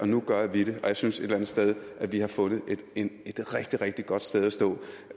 nu gør vi det og jeg synes et eller andet sted at vi har fundet et rigtig rigtig godt sted at stå